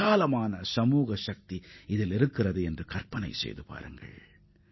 இந்தக் கருத்தின் சமுதாய வலிமையை நீங்கள் நன்றாக நினைத்துப் பார்க்க வேண்டும்